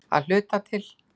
Að hluta til.